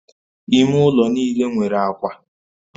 Ime ụlọ niile nwere akwa